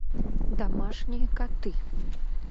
домашние коты